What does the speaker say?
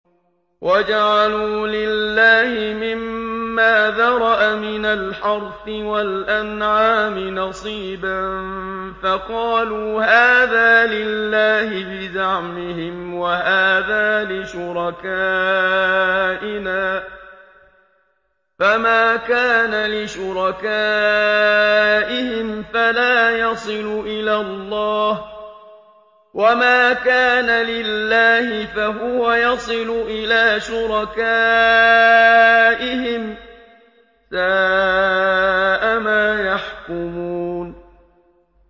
وَجَعَلُوا لِلَّهِ مِمَّا ذَرَأَ مِنَ الْحَرْثِ وَالْأَنْعَامِ نَصِيبًا فَقَالُوا هَٰذَا لِلَّهِ بِزَعْمِهِمْ وَهَٰذَا لِشُرَكَائِنَا ۖ فَمَا كَانَ لِشُرَكَائِهِمْ فَلَا يَصِلُ إِلَى اللَّهِ ۖ وَمَا كَانَ لِلَّهِ فَهُوَ يَصِلُ إِلَىٰ شُرَكَائِهِمْ ۗ سَاءَ مَا يَحْكُمُونَ